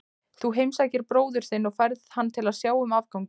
Þú heimsækir bróður þinn og færð hann til að sjá um afganginn.